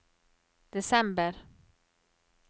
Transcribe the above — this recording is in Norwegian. desember